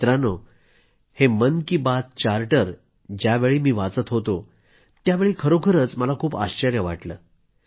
मित्रांनो हे मन की बात चार्टर ज्यावेळी मी वाचत होतो त्यावेळी खरोखरीच खूप आश्चर्य वाटलं